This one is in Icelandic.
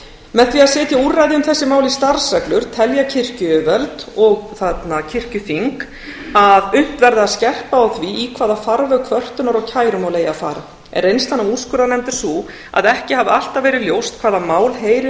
með því að setja úrræði um þessi mál í starfsreglur telja kirkjuyfirvöld og kirkjuþing að unnt verði að skerpa á því í hvaða farveg kvörtunar og kærumál eiga að fara en reynslan af úrskurðarnefnd er sú að ekki hafi alltaf verið ljóst hvaða mál heyri